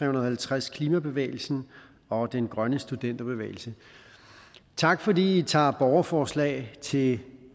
og halvtreds klimabevægelsen og den grønne studenterbevægelse tak fordi i tager et borgerforslag til